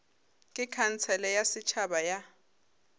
ke khansele ya setšhaba ya